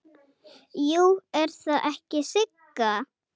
Jú, er það ekki Sigga?